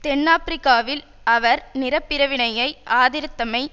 தென்னாபிரிக்காவில் அவர் நிற பிரிவினையை ஆதரித்தமை